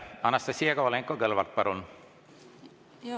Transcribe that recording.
Anastassia Kovalenko-Kõlvart, palun!